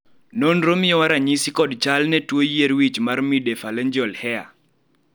nonro miyowa ranyisi kod chal gi ne tuo yier wich mar midephalangeal hair?